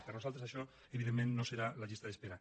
per nosaltres això evidentment no serà la llista d’espera